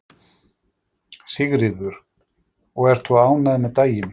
Sigríður: Og ert þú ánægð með daginn?